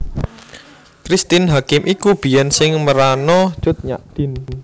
Christine Hakim iku biyen sing merano Cut Nyak Dhien